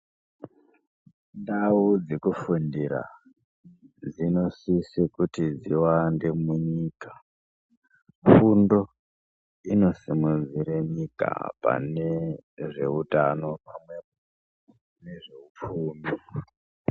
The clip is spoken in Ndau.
Ndau dzekufundira dzinosisa kuti dziwande munyika. Fundo inosimudzire nyika pane zveutano pamwepo nezveupfumi.